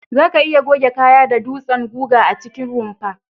Za'a iya goge kaya da dutsen guga a cikin rumfa.